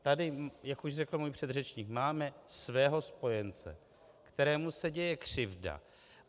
Tady, jak už řekl můj předřečník, máme svého spojence, kterému se děje křivda.